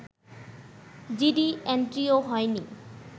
GD এন্ট্রিও হয়নি